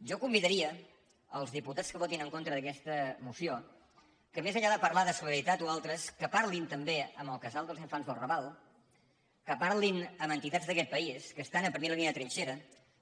jo convidaria els diputats que votin en contra d’aques·ta moció que més enllà de parlar de solidaritat o al·tres que parlin també amb el casal dels infants del raval que parlin amb entitats d’aquest país que es·tan a primera línia de trinxera